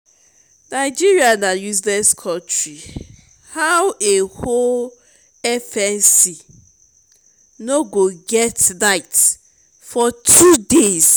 nigeria na useless country how a whole fmc no go get light for two days?